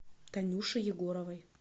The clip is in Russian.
танюши егоровой